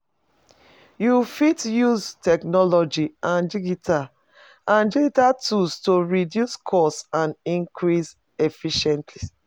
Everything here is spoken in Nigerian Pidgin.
You fit use technology and digital and digital tools to reduce costs and increase efficiency.